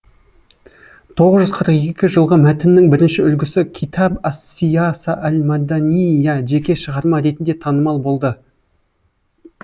тоғыз жүз қырық екі жылғы мәтіннің бірінші үлгісі китаб ас сийаса ал маданиййа жеке шығарма ретінде танымал болды